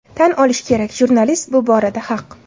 Tan olish kerak, jurnalist bu borada haq.